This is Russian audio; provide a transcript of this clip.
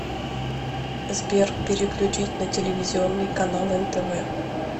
сбер переключить на телевизионный канал нтв